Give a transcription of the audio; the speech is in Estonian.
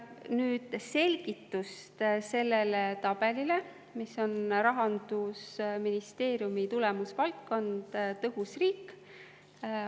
Nüüd selgituseks selle tabeli kohta, mis on Rahandusministeeriumi tulemusvaldkond "Tõhus riik".